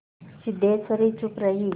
सिद्धेश्वरी चुप रही